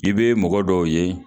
I bɛ mɔgɔ dɔw ye